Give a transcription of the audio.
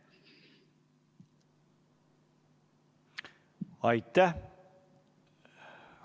Aitäh!